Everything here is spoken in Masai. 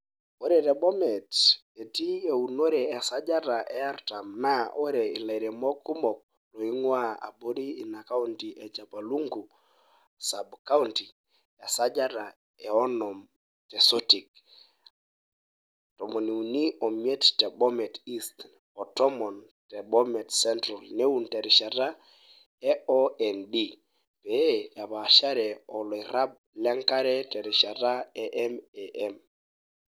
Ore te Bomet, etii eunore esajata e 40 naa ore lairemok kumok loing`uaa abori ina kaunti aa Chepalungu sub county, esajata e 50 te Sotik, 35 te Bomet east o 10 te Bomet Central neun terishata e OND pee epaashare olairrab le nkare terishata e MAM.